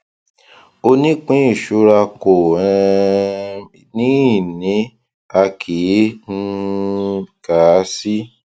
onípínìṣura kò um ní ìní a kì í um kà á sí